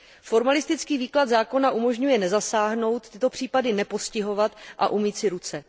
Formalistický výklad zákona umožňuje nezasáhnout, tyto případy nepostihovat a umýt si ruce.